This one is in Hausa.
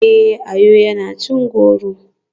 Eh, Ayo yana cin goro.